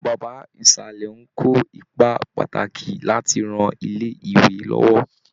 Bàbá ìsàlè ń kó ipa pàtàkì láti rán ilé-ìwé lọ́wọ́.